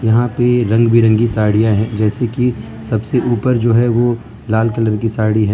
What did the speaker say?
यहां पे रंग बिरंगी साड़ियां है जैसे की सबसे ऊपर जो है वो लाल कलर की साड़ी है।